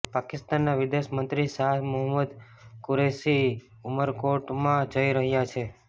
પાકિસ્તાનનાં વિદેશ મંત્રી શાહ મહમૂદ કુરૈશી ઉમરકોટમાં જઇ રહ્યા છે